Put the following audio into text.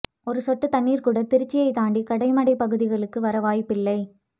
ஒரு சொட்டு தண்ணீர் கூட திருச்சியை தாண்டி கடைமடை பகுதிகளுக்கு வர வாய்ப்பில்லை